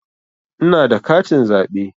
Ina da katin zaɓe.